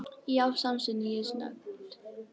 Já, samsinni ég snöggt.